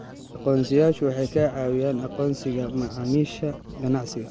Aqoonsiyeyaashu waxay caawiyaan aqoonsiga macaamiisha ganacsiga.